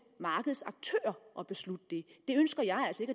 markedets aktører at beslutte det det ønsker jeg altså